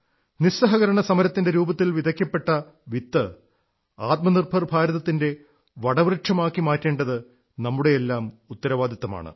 നിസ്സഹകരണസമരത്തിന്റെ രൂപത്തിൽ വിതയ്ക്കപ്പെട്ട വിത്ത് ആത്മനിർഭർ ഭാരതത്തിന്റെ വടവൃക്ഷമാക്കി മാറ്റേണ്ടത് നമ്മുടെയെല്ലാം ഉത്തരവാദിത്വമാണ്